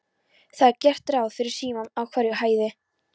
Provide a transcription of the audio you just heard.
Það er gert ráð fyrir símum á hverri hæð.